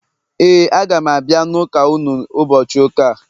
,Éè, a ga m abia n’ụka unu ụbọchị ụka a